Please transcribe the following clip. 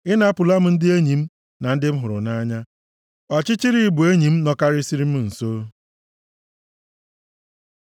Ị napụla m ndị enyi m na ndị m hụrụ nʼanya; ọchịchịrị bụ enyi m nọkarịsịrị m nso.